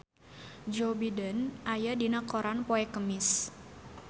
Joe Biden aya dina koran poe Kemis